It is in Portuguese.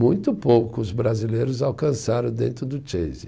Muito poucos brasileiros alcançaram dentro do Chase.